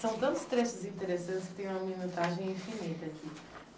São tantos trechos interessantes que tem uma minutagem infinita aqui.